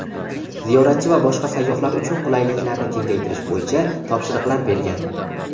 ziyoratchi va boshqa sayyohlar uchun qulayliklarni kengaytirish bo‘yicha topshiriqlar bergan.